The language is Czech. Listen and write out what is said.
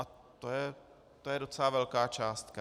A to je docela velká částka.